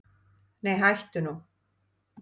Nei hættu nú!